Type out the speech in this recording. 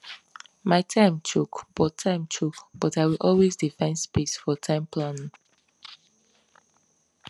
my time choke but time choke but i will always dey find space for time planning